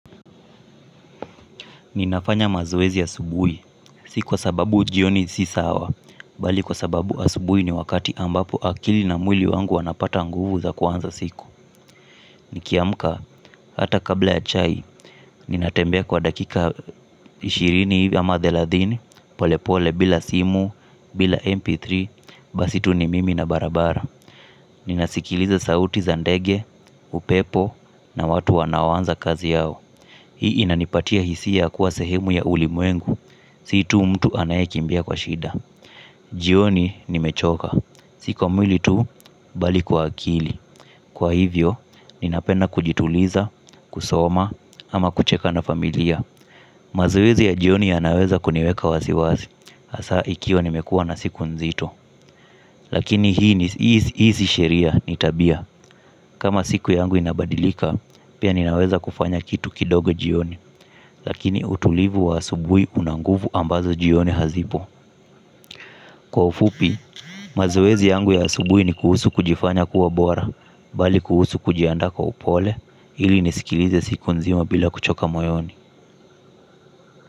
Ninafanya mazoezi asubuhi, si kwa sababu jioni si sawa, bali kwa sababu asubuhi ni wakati ambapo akili na mwili wangu wanapata nguvu za kuanza siku. Nikiamka, hata kabla ya chai, ninatembea kwa dakika ishirini ama thelathini pole pole bila simu, bila mp3, basi tu ni mimi na barabara. Ninasikiliza sauti za ndege, upepo na watu wanao anza kazi yao. Hii inanipatia hisia kuwa sehemu ya ulimwengu, si tu mtu anayekimbia kwa shida. Jioni nimechoka, si kwa mwili tu bali kwa akili. Kwa hivyo, ninapenda kujituliza, kusoma, ama kucheka na familia. Mazoezi ya jioni yanaweza kuniweka wasi wasi, hasa ikiwa nimekua na siku nzito. Lakini hii si sheria, ni tabia. Kama siku yangu inabadilika, pia ninaweza kufanya kitu kidogo jioni. Lakini utulivu wa asubuhi una nguvu ambazo jioni hazipo. Kwa ufupi, mazoezi yangu ya asubuhi ni kuhusu kujifanya kuwa bora bali kuhusu kujiandaa kwa upole ili nisikilize siku nzima bila kuchoka moyoni.